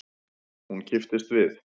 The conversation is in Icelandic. Hún kipptist við.